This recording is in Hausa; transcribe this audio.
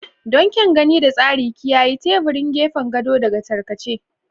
Don kyan gani da tsari, kiyaye teburin gefen gado daga tarkace.